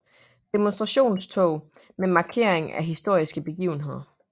Demonstrationstog med markering af historiske begivenheder